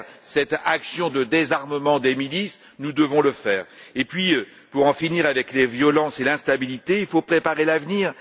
Cette action de désarmement des milices, nous devons la mener à bien. Puis, pour en finir avec les violences et l'instabilité, il faut préparer l'avenir.